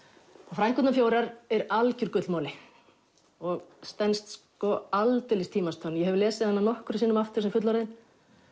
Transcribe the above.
frænkurnar fjórar er algjör gullmoli og stenst aldeilis tímans tönn ég hef lesið hana nokkrum sinnum aftur sem fullorðin